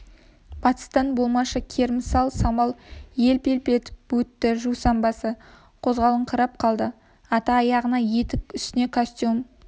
батыстан болмашы керімсал самал елп-елп етіп өтті жусан басы қозғалақтап қалды ата аяғына етік үстіне костюм